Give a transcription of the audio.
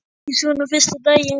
Ekki svona fyrsta daginn.